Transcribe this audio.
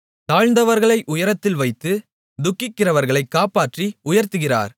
தாழ்ந்தவர்களை உயரத்தில் வைத்து துக்கிக்கிறவர்களை காப்பாற்றி உயர்த்துகிறார்